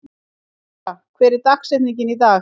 Theódóra, hver er dagsetningin í dag?